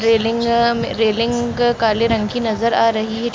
Railing अ railing काले रंग की नजर आ रही है।